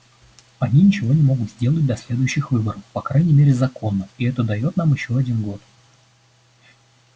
они ничего не могут сделать до следующих выборов по крайней мере законно и это даёт нам ещё один год